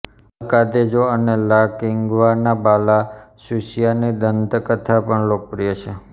અલ Cadejo અને La કિગ્વાનાબાલા સુસિયાની દંતકથા પણ લોકપ્રિય છે